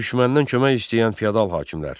Düşməndən kömək istəyən fiyadal hakimlər.